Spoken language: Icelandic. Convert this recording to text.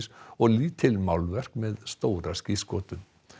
og lítil málverk með stóra skírskotun